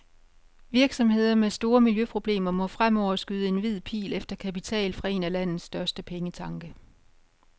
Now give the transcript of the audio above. Virksomheder med store miljøproblemer må fremover skyde en hvid pil efter kapital fra en af landets største pengetanke.